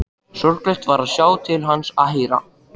Sorglegt var að sjá til hans og heyra.